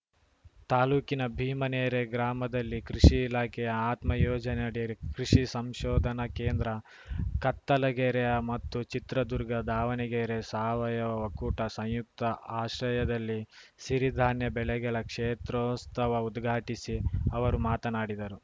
ತಾಲೂಕಿನ ಭೀಮನೆರೆ ಗ್ರಾಮದಲ್ಲಿ ಕೃಷಿ ಇಲಾಖೆಯ ಅತ್ಮ ಯೋಜನೆಯಡಿ ಕೃಷಿ ಸಂಶೋಧನಾ ಕೇಂದ್ರ ಕತ್ತಲಗೆರೆ ಮತ್ತು ಚಿತ್ರದುರ್ಗ ದಾವಣಗೆರೆ ಸಾವಯವ ಒಕ್ಕೂಟ ಸಂಯುಕ್ತ ಆಶ್ರಯದಲ್ಲಿ ಸಿರಿಧಾನ್ಯ ಬೆಳೆಗಳ ಕ್ಷೇತ್ರೋಸ್ತವ ಉದ್ಘಾಟಿಸಿ ಅವರು ಮಾತನಾಡಿದರು